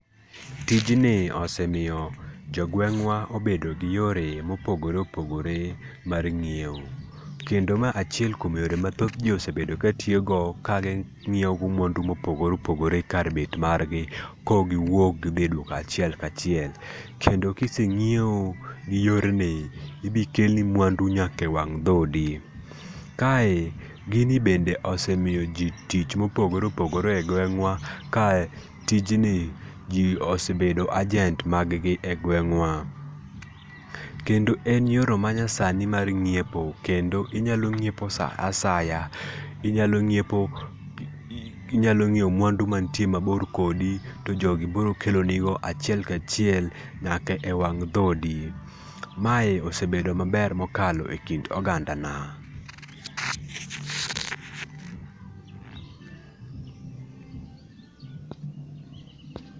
Tijni osemiyo jogweng'wa obedo gi yore mopogore opogore mar ng'iewo. Kendo mae achiel kuom yore mathoth ji osebedo ka tiyogo ka ginyiewo go mwandu mopogre opogre kar bet margi ka ok giwuok gidhi e duka achiel kachiel kendo ka ise ng'iewo, ibi kelni mwandu nyaka e wang' dhoodi. Kae gini bende osemiyoji tich mopogore opogore e gweng'wa kae tijni ji osebedo ajent mag gi e gweng'wa. Kendo en yorno ma nyasani mar nyiepo, kendo inyalo nyiepo saa asaya, inyalo ng'iepo inyalo ng'iewo mwandu mantie mabor kodi to jogi biro kelonigo achiel kachiel nyaka e wang' dhoodi. Mae ose bedo maber mokalo ekind oganda na pause.